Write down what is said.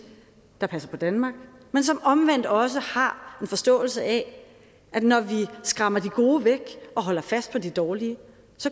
der passer på danmark men som omvendt også har en forståelse af at når vi skræmmer de gode væk og holder fast på de dårlige